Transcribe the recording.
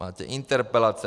Máte interpelace.